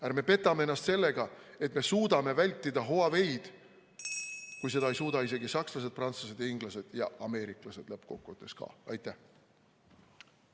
Ärme petame ennast sellega, et me suudame vältida Huaweid, kui seda ei suuda isegi sakslased, prantslased, inglased ega lõppkokkuvõttes ka ameeriklased.